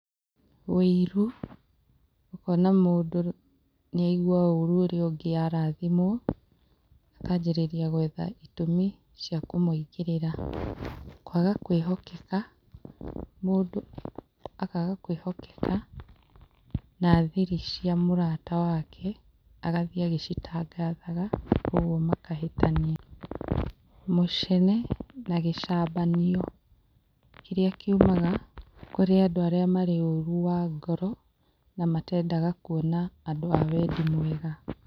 Wĩiru, ũkona mũndũ nĩaigua ũrũ ũrĩa ũngĩ arathimwo akajĩrĩria gwetha itũmi cia kũmũingĩrĩra. Kwaga kwĩhokeka, mũndũ akaga kwĩhokeka na thiri cia mũrata wake agathiĩ agĩcitangathaga, ũguo makahĩtania. Mũcene na gĩcambanio kĩrĩa kiumaga kũrĩ andũ arĩa marĩ ũru wa ngoro na matendaga kwona andũ a wendi mwega.